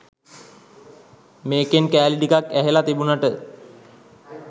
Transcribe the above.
මේකෙන් කෑලි ටිකක් ඇහල තිබුනට